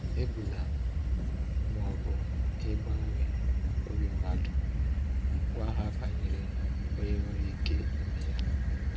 Egbula mbọ ịgbanwe obi mmadụ, gwa ha banyere Onye nwere ike ime ya.